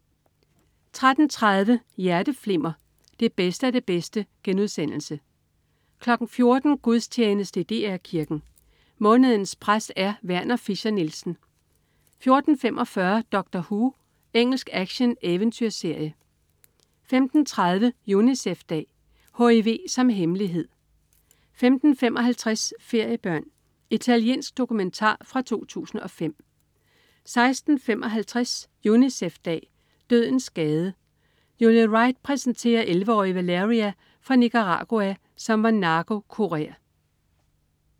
13.30 Hjerteflimmer. Det bedste af det bedste* 14.00 Gudstjeneste i DR Kirken. Månedens præst er Werner Fischer-Nielsen 14.45 Doctor Who. Engelsk actioneventyrserie 15.30 Unicef-dag. HIV som hemmelighed 15.55 Feriebørn. Italiensk dokumentar fra 2005 16.55 Unicef-dag. Dødens gade. Julie Wright præsenterer 11-årige Valeria fra Nicaragua, som var narkokurer